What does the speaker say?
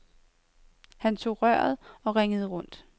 Han tog røret og ringede rundt.